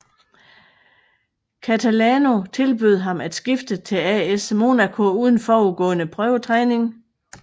Catalano tilbød ham at skifte til AS Monaco uden forudgående prøvetræning